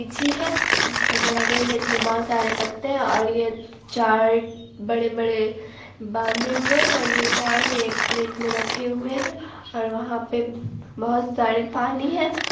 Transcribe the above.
लीची है जिसका कलर रेड है इसमे बहुत सारे पत्ते है और ये चार बड़े-बड़े बांधे हुए है और ये चार एक प्लेट मे रखे हुए है और वहां पे बहुत सारे पानी है।